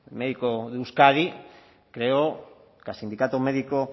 médico de euskadi creo que al sindicato médico